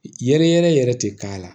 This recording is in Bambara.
Yɛrɛ yɛrɛ tɛ k'a la